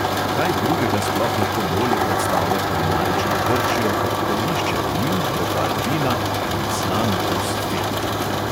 Kaj drugega sploh lahko bolje predstavlja kulinarično grčijo kot prgišče oliv, bokal vina in slan okus fete!